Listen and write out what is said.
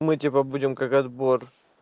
мы типа будем как отбор